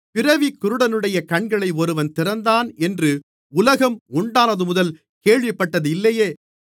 பிறவிக் குருடனுடைய கண்களை ஒருவன் திறந்தான் என்று உலகம் உண்டானதுமுதல் கேள்விப்பட்டது இல்லையே